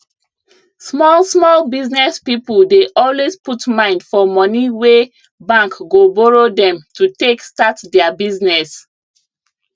small small business people dey always put mind for money wey bank go borrow dem to take start their business